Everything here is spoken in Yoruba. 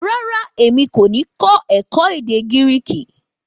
Rárá, èmi kò ní kó èkó èdè gíríkì